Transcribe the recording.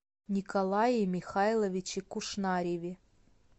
николае михайловиче кушнареве